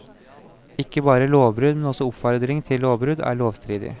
Ikke bare lovbrudd, men også oppfordring til lovbrudd er lovstridig.